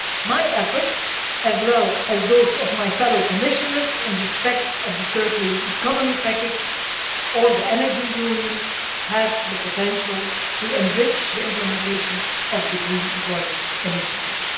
My efforts, as well as those of my fellow Commissioners, in respect of the circular economy package or the Energy Union have the potential to enrich the implementation of the Green Employment Initiative.